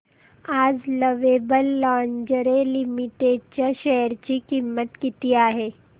आज lovable lingerie limited च्या share ची किंमत किती आहे